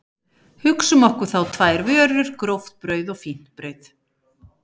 Hugsum okkur þá tvær vörur, gróft brauð og fínt brauð.